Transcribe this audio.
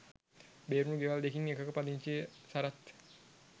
බේරුණු ගෙවල් දෙකින් එකක පදිංචි සරත්